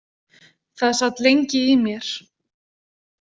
Það sat lengi í mér.